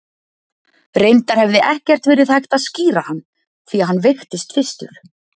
Reyndar hefði ekkert verið hægt að skíra hann, því að hann veiktist fyrstur.